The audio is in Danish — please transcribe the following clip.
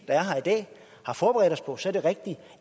er her i dag har forberedt os på så er det rigtigt